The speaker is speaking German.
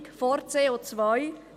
Bildung vor CO.